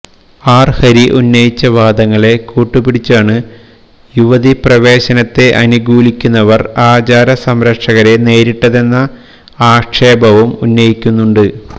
R Hari ഉന്നയിച്ച വാദങ്ങളെ കൂട്ടുപിടിച്ചാണ് യുവതിപ്രവേശനത്തെ അനുകൂലിക്കുന്നവർ ആചാരസംരക്ഷകരെ നേരിട്ടതെന്ന ആക്ഷേപവും ഉന്നയിക്കുന്നുണ്ട്